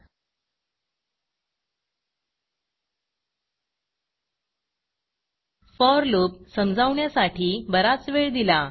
four loopफॉर loop समजावण्यासाठी बराच वेळ दिला